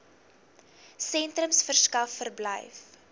sentrums verskaf verblyf